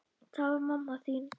Það var mamma þín.